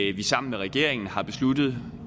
at vi sammen med regeringen har besluttet